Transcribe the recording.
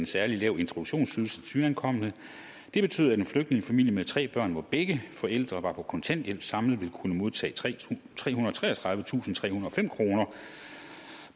særlig lav introduktionsydelse til nyankomne det betød at en flygtningefamilie med tre børn hvor begge forældre var på kontanthjælp samlet kunne modtage trehundrede og treogtredivetusindtrehundrede og fem kroner